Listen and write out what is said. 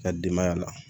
Ka denbaya la